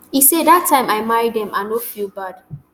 e say dat time i marry dem i no feel bad